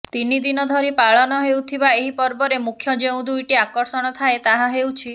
ତିନି ଦିନ ଧରି ପାଳନ ହେଉଥିବା ଏହି ପର୍ବରେ ମୁଖ୍ୟ ଯେଉଁ ଦୁଇଟି ଆକର୍ଷଣ ଥାଏ ତାହା ହେଉଛି